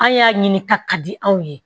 An y'a ɲini ka ka di anw ye